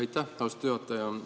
Aitäh, austatud juhataja!